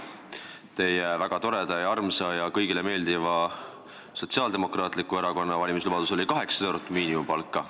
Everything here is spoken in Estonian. Teile väga toreda ja armsa ning kõigile meeldiva Sotsiaaldemokraatliku Erakonna valimislubaduseks oli 800 eurot miinimumpalka.